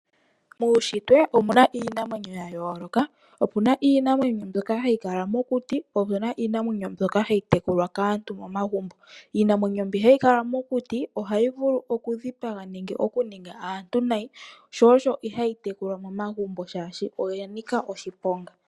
Muushitwe omuna iinamwenyo yayooloka, opuna iinamwenyo mbyoka hayi kala mokuti po opuna iinamwenyo mbyoka hayi tekulwa kaantu momagumbo. Iinamwenyo mbi hayi kala mokuti ohayi vulu okudhipaga nenge okuninga aantu nayi shoo sho ihayi tekulwa momagumbo shaashi oya nika oshiponga.